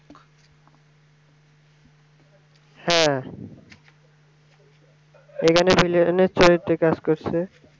হ্যাঁ এখানে villain এর চরিত্রে কাজ করসে